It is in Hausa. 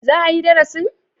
Za a yi darasin?